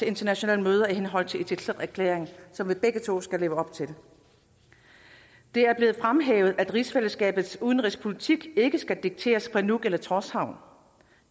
internationale møder i henhold til itelleqerklæringen som vi begge to skal leve op til det er blevet fremhævet at rigsfællesskabets udenrigspolitik ikke skal dikteres fra nuuk eller tórshavn